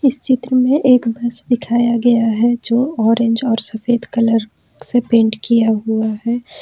इस चित्र में एक बस दिखाया गया है जो ऑरेंज और सफेद कलर से पेंट किया हुआ है।